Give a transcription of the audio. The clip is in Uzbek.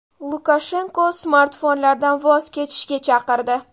Lukashenko smartfonlardan voz kechishga chaqirdi.